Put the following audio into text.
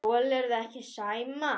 Þolirðu ekki Sæma?